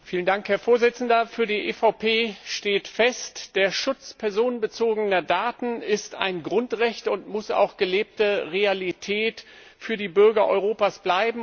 Herr Präsident! Für die EVP steht fest Der Schutz personenbezogener Daten ist ein Grundrecht und muss auch gelebte Realität für die Bürger Europas bleiben.